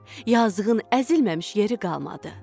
Yazığın əzilməmiş yeri qalmadı.